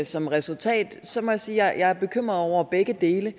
som resultat så må jeg sige at jeg er bekymret over begge dele